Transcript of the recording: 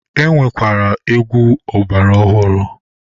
E nwekwara egwu ọgbara ọhụrụ.